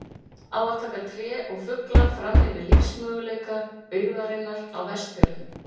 Á að taka tré og fugla fram yfir lífsmöguleika byggðarinnar á Vestfjörðum?